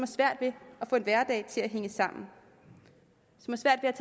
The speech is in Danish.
svært ved at få en hverdag til at hænge sammen